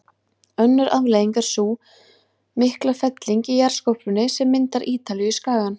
Önnur afleiðing er sú mikla felling í jarðskorpunni sem myndar Ítalíuskagann.